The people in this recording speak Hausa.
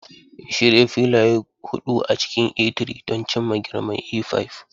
Shirya filaye huɗu a cikin A3 don cimma girman A5.